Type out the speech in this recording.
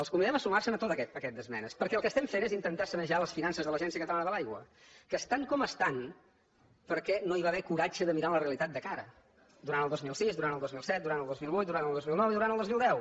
els convidem a sumar se a tot aquest paquet d’esmenes perquè el que estem fent és intentar sanejar les finances de l’agència catalana de l’aigua que estan com estan perquè no hi va haver coratge de mirar la realitat de cara durant el dos mil sis durant el dos mil set durant el dos mil vuit durant el dos mil nou i durant el dos mil deu